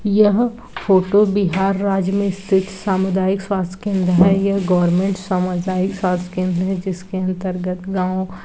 यह फोटो बिहार राज्य में स्थित सामुदायिक स्वास्थ केंद्र है यह गोवेर्मेंट सामुदायिक स्वास्थ केंद्र है जिसके अंतर्गत गांव--